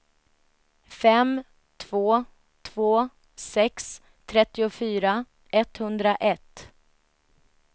fem två två sex trettiofyra etthundraett